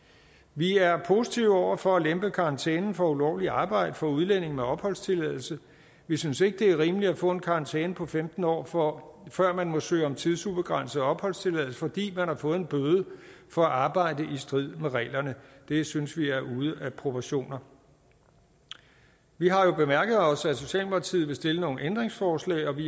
vi er positive over for at lempe karantænen for ulovligt arbejde for udlændinge med opholdstilladelse vi synes ikke det er rimeligt at få en karantæne på femten år år før man må søge om tidsubegrænset opholdstilladelse fordi man har fået en bøde for at arbejde i strid med reglerne det synes vi er ude af proportioner vi har jo bemærket os at socialdemokratiet vil stille nogle ændringsforslag og vi